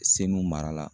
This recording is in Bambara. Seluw mara la